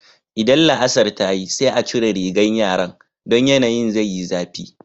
Idan la'asar ta yi sai a cire rigan yaran, don yanayin zai yi zafi.